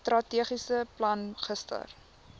strategiese plan gister